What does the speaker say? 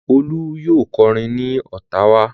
Olú yóò kọrin ní Ottawa.